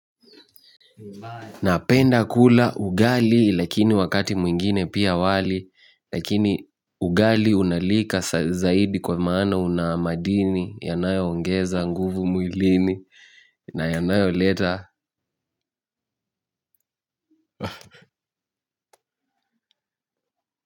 Napenda kula ugali lakini wakati mwingine pia wali lakini ugali unalika zaidi kwa maana unamadini yanayo ongeza nguvu mwilini na yanayoleta.